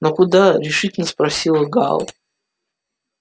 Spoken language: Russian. но куда решительно спросил гаал